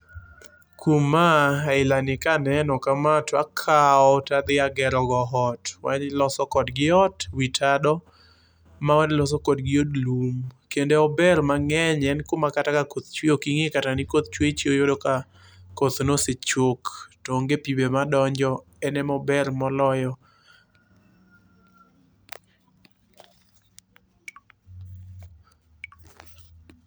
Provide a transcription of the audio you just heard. Kuom ma, ailani kaneno kama takawo tadhi agerogo ot. Mar iloso kodgi ot, wi tado mawaloso kodgi od lum. Kendo ober mang'eny, en kuma kata kakoth chwe ok ing'e kata ni koth chwe. Ichiew iyudo mana ka koth nosechok. To onge pi be madonjo, en emober moloyo.